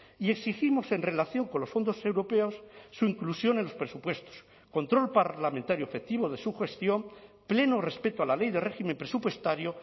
y exigimos en relación con los fondos europeos su inclusión en los presupuestos control parlamentario efectivo de su gestión pleno respeto a la ley de régimen presupuestario